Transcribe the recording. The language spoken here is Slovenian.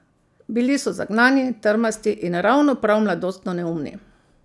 Bili so zagnani, trmasti in ravno prav mladostno neumni.